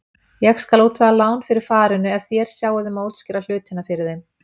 Ég skal útvega lán fyrir farinu ef þér sjáið um að útskýra hlutina fyrir þeim.